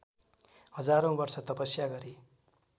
हजारौँ वर्ष तपस्या गरे